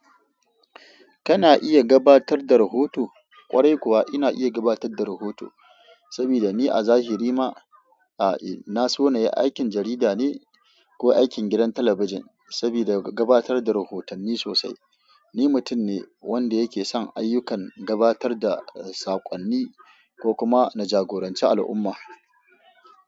Kana iya gabatar da rahoto? Kwarai kuwa ina iya gabatar da rahoto saboda ni a zahiri ma, aa na so na yi aikin jarida ne ko aikin gidan talabijin sabida gabatar da rahoton ni sosai. Ni mutum ne wanda yake son ayyukan gabatar da saƙonni ko kuma na jagoranci al'umma.